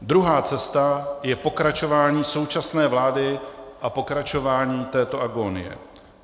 Druhá cesta je pokračování současné vlády a pokračování této agónie.